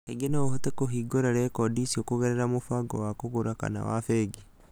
Kaingĩ no ũhote kũhingũra rekondi icio kũgerera mũbango wa kũgũra kana wa bengi.